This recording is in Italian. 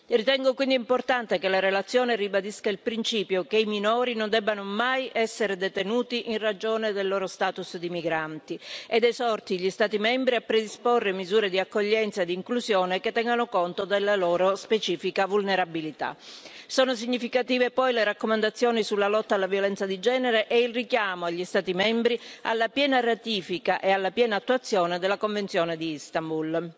Ritengo quindi importante che la relazione ribadisca il principio che i minori non debbano mai essere detenuti in ragione del loro status di migranti ed esorti gli Stati membri a predisporre misure di accoglienza e di inclusione, che tengano conto della loro specifica vulnerabilità. Sono significative poi le raccomandazioni sulla lotta alla violenza di genere e il richiamo agli Stati membri, alla piena ratifica e alla piena attuazione della Convenzione di Istanbul.